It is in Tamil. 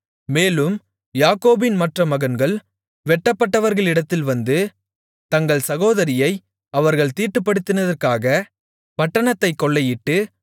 மேலும் யாக்கோபின் மற்ற மகன்கள் வெட்டப்பட்டவர்களிடத்தில் வந்து தங்கள் சகோதரியை அவர்கள் தீட்டுப்படுத்தினதற்காகப் பட்டணத்தைக் கொள்ளையிட்டு